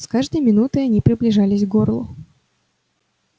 с каждой минутой они приближались к горлу